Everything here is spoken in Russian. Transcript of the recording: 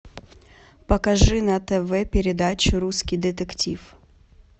покажи на тв передачу русский детектив